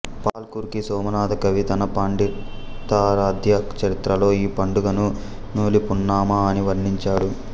పాల్కురికి సోమనాధకవి తన పండితారాధ్య చరిత్రలో ఈ పండుగను నూలిపున్నమ అని వర్ణించాడు